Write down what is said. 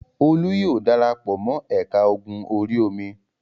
Olú yóò dara pọ̀ mọ́ ẹ̀ka ogun orí-omi.